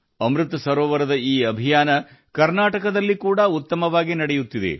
ಅಮೃತ ಸರೋವರಗಳ ಈ ಅಭಿಯಾನ ಕರ್ನಾಟಕದಲ್ಲಿಯೂ ಜೋರಾಗಿ ನಡೆಯುತ್ತಿದೆ